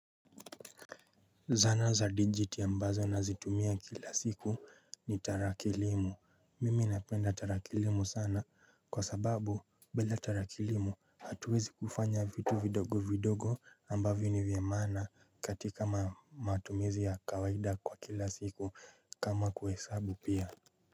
Zana za dijiti ambazo nazitumia kila siku ni tarakilimu mimi napenda tarakilimu sana kwa sababu bila tarakilimu hatuwezi kufanya vitu vidogo vidogo ambavyo ni vya maana katika matumizi ya kawaida kwa kila siku kama kuhesabu pia.